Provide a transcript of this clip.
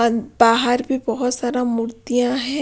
बाहर भी बहुत सारा मूर्तियां है।